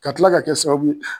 Ka kila ka kɛ sababu ye